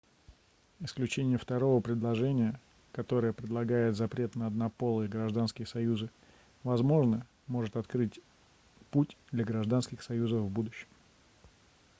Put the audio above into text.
исключение второго предложения которое предлагает запрет на однополые гражданские союзы возможно может открыть путь для гражданских союзов в будущем